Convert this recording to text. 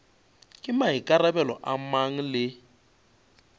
ke maikarabelo a mang le